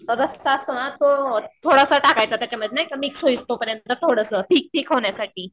रस्सा असतो ना थोडासा टाकायचा त्याच्यामध्ये नाही का मिक्स होईपर्यंत थोडंसं थिक थिक होण्यासाठी.